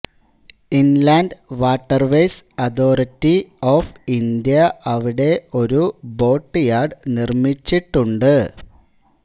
inland waterways authority of India ഇവിടെ ഒരു boat yard നിർമ്മിച്ചിട്ടുണ്ട്